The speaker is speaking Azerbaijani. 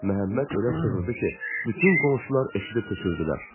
Məhəmməd elə çığırdı ki, bütün qonşular eşidib töküldülər.